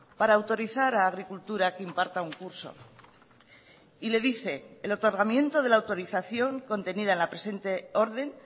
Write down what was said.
para autorizar a agricultura que imparta un curso y le dice el otorgamiento de la autorización contenida en la presente orden